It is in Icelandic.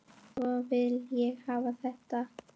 Svona vil ég hafa þetta.